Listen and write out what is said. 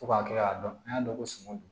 Fo ka kila k'a dɔn an y'a dɔn ko sunɔgɔ don